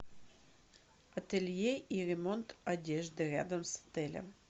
ателье и ремонт одежды рядом с отелем